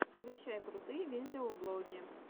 включай крутые видеоблоги